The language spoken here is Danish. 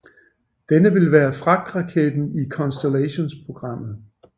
Denne vil være fragtraketten i Constellationprogrammet